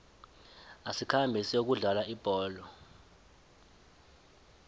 asikhambe siyokudlala ibholo